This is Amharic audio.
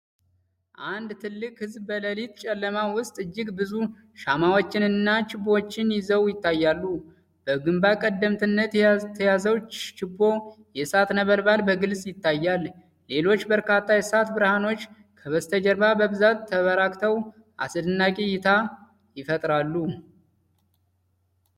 አንድ ትልቅ ሕዝብ በሌሊት ጨለማ ውስጥ እጅግ ብዙ ሻማዎችንና ችቦዎችን ይዘው ይታያሉ። በግንባር ቀደምትነት የተያዘው ችቦ የእሳት ነበልባል በግልጽ ይታያል። ሌሎች በርካታ የእሳት ብርሃኖች ከበስተጀርባ በብዛት ተበራክተው አስደናቂ እይታ ይፈጥራሉ።